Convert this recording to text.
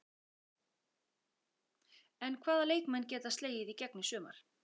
En hvaða leikmenn geta slegið í gegn í sumar?